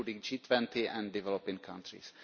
including the G20 and developing countries.